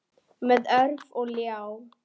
Með orf og ljá.